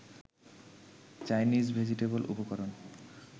Chinese vegetable উপকরণ